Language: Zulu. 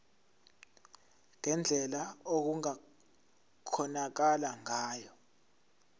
ngendlela okungakhonakala ngayo